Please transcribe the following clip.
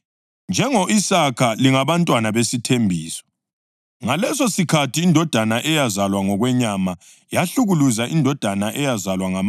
Kodwa umbhalo uthini na? Uthi: “Susa isigqilikazi lendodana yaso, ngoba indodana yesigqilikazi kayiyikwabelana ilifa lendodana yowesifazane okhululekileyo.” + 4.30 UGenesisi 21.10